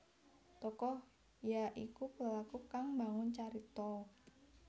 Tokoh ya iku pelaku kang mbangun carita